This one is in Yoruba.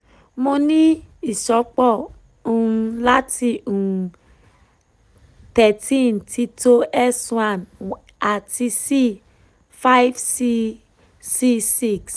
mo ni iṣọpọ um lati um thirteen tito S one ati C five si C six